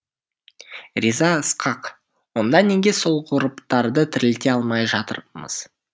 риза ысқақ онда неге сол ғұрыптарды тірілте алмай жатырмыз